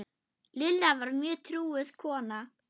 Lilla var mjög trúuð kona.